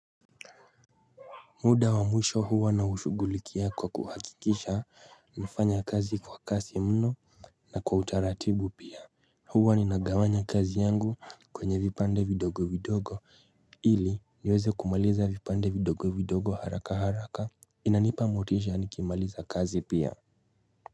Muda wa mwisho huwa na ushuguliki ya kwa kuhakikisha nafanya kazi kwa kasi mno na kwa utaratibu pia huwa ni nagawanya kazi yangu kwenye vipande vidogo vidogo ili niweze kumaliza vipande vidogo vidogo haraka haraka inanipa motisha nikimaliza kazi pia.